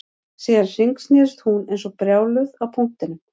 Síðan hringsnerist hún eins og brjáluð á punktinum